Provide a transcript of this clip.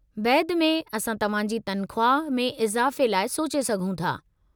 बैदि में असां तहां जी तनख़्वाह में इज़ाफ़े लाइ सोचे सघूं था।